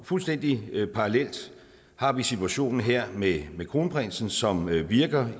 fuldstændig parallelt har vi situationen her med med kronprinsen som virker